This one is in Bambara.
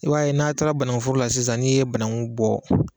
i b'a ye n'a taara banankuforo la sisan n'i ye bananku bɔ